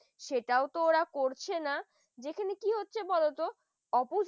সেটাও তোরা করছে না যেখানে কি হচ্ছে বলতো opposite